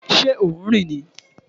Ṣé ò ń rìn ni?